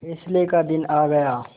फैसले का दिन आ गया